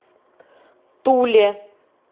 туле